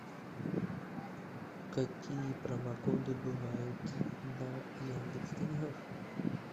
какие промокоды бывают на яндекс деньгах